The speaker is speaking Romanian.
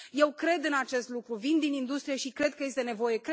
Eu cred în acest lucru, vin din industrie și cred că este nevoie.